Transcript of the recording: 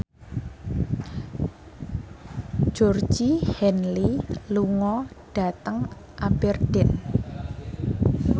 Georgie Henley lunga dhateng Aberdeen